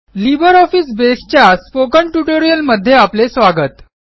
LibreOffice Base च्या spoken ट्युटोरियलमध्ये आपले स्वागत